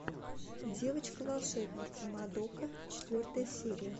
девочка волшебница мадока четвертая серия